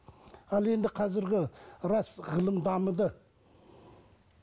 ал енді қазіргі рас ғылым дамыды